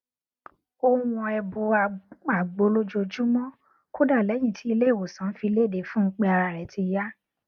ó n wọn ẹbu àgbo lójoojúmọ kódà lẹyìn tí ilé ìwòsàn fi léde fún un pé ara rẹ ti yá